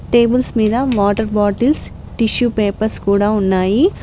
Tables మీద water bottles tissue papers కూడా ఉన్నాయి.